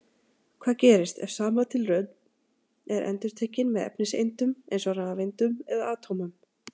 Hvað gerist, ef sama tilraun er endurtekin með efniseindum, eins og rafeindum eða atómum?